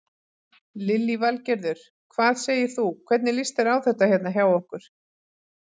Lillý Valgerður: Hvað segir þú, hvernig líst þér á þetta hérna hjá okkur?